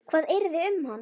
Hvað yrði um hana?